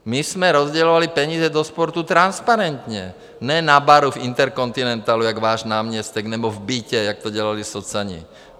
My jsme rozdělovali peníze do sportu transparentně, ne na baru v Intercontinentalu jako váš náměstek, nebo v bytě, jak to dělali socani.